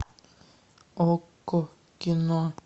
окко кино